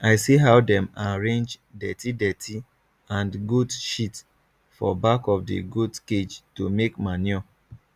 i see how dem arrange dirtydirty and goat sheet for back of the goat cage to make manure